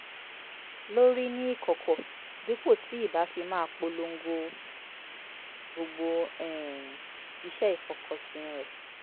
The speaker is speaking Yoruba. lórí ní ìkọ̀kọ̀ dípò tí ì bá fi máa polongo gbogbo um ìṣe ìfokànsìn rẹ̀